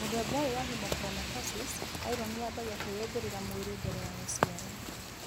Mũthemba ũyũ wa hemochromatosis , iron yambagia kwĩyũmbĩrĩra mwĩrĩ mbere ya gũciarwo